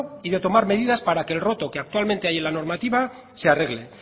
y de tomar medidas para que el roto que actualmente hay en la normativa se arregle